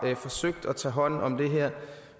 forsøgt at tage hånd om det her